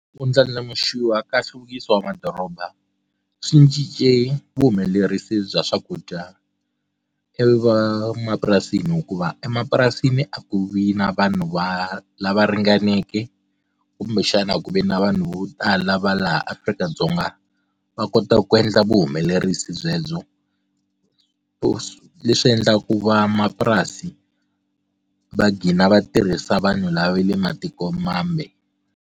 Ku ndlandlamuxiwa ka nhluvukiso wa madoroba swi cince vuhumelerisi bya swakudya e van'wamapurasini hikuva emapurasini a ku vi na vanhu va lava ringaneke kumbexana ku ve na vanhu vo tala va laha afrika dzonga va kota ku endla vuhumelerisi byebyo so leswi endlaku vamapurasi va gina va tirhisa vanhu lava le matiko mambe.